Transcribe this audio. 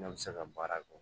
Ne bɛ se ka baara kɛ